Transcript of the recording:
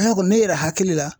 Ne kɔni ne yɛrɛ hakili la